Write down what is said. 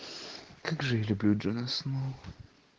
как же я люблю джона сноу